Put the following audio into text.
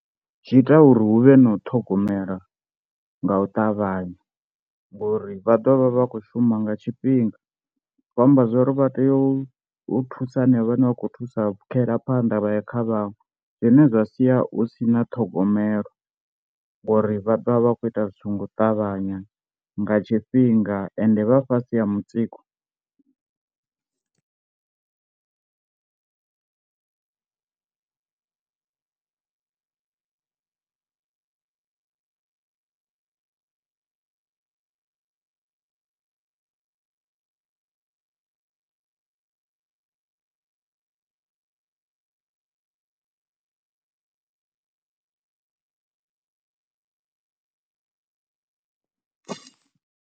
Zwi ita uri huvhe na u ṱhogomela nga u ṱavhanya ngori vha ḓo vha vha vha khou shuma nga tshifhinga, zwi khou amba zwori vha tea u thusa hanevho vhane vha khou thusa u pfhukhela phanḓa vha ya kha vhaṅwe, zwine zwa sia hu sina ṱhogomelo ngori vha ḓovha vha kho ita zwithu nga u ṱavhanya nga tshifhinga ende vha fhasi ha mutsiko.